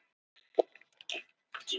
Jötunn, hvaða vikudagur er í dag?